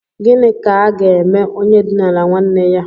Gịnị ka aga eme onye dinara nwanne ya?